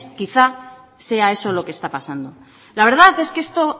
quizá sea eso lo que está pasando la verdad es que esto